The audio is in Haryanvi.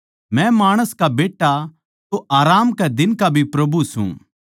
मै माणस का बेट्टा तो आराम कै दिन का भी प्रभु सूं